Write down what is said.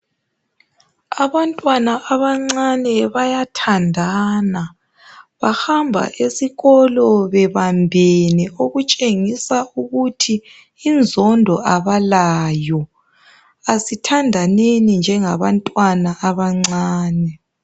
Abantwana abancani bayathanda bahamba esikolo bebambene okutshengisa ukuthi inzondo abalayo asithandaneni njengabantwana abancani